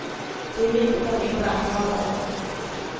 Det är viktigt att inte anklaga någon.